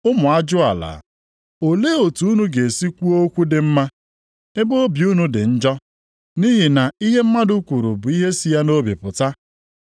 Ụmụ ajụala, olee otu unu ga-esi kwuo okwu dị mma, ebe obi unu dị njọ? Nʼihi na ihe mmadụ kwuru bụ ihe si ya nʼobi pụta.